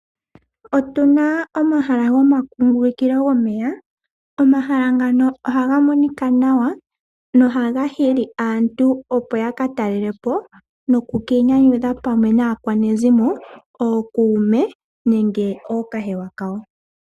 Otuna omahala gomakungulukilo gomeya. Omahala ngano ohaga monika nawa, no haga hili aantu opo ya ka talelapo noku kiinyanyudha pamwe naakwanezimo, okuume nenge ookahewa ka wo.